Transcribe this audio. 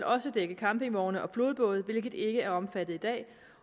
også dække campingvogne og flodbåde hvilket ikke er omfattet i dag